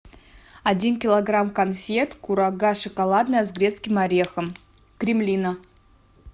один килограмм конфет курага шоколадная с грецким орехом кремлина